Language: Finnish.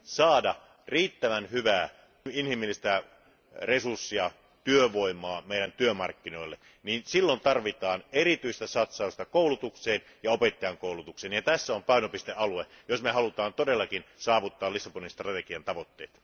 saada riittävän hyviä inhimillisiä resursseja, työvoimaa meidän työmarkkinoillemme, silloin tarvitaan erityistä satsausta koulutukseen ja opettajankoulutukseen, ja tässä on painopistealue, jos haluamme todellakin saavuttaa Lissabonin strategian tavoitteet.